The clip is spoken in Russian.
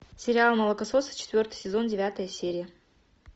сериал молокососы четвертый сезон девятая серия